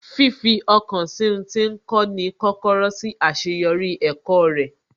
Fifi ọkàn sí ń tí ń kọ́ ni kọ́kọ́rọ́ sí àṣeyọrí ẹ̀kọ́ rẹ̀